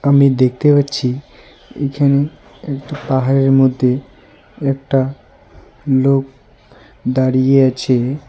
আমি দেখতে পাচ্ছি এখানে একটা পাহাড়ের মধ্যে একটা লোক দাঁড়িয়ে আছে।